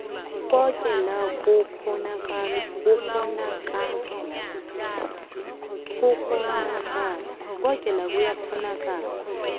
koke la kukghonakala